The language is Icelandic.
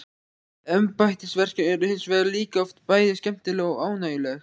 Embættisverkin eru hins vegar líka oft bæði skemmtileg og ánægjuleg.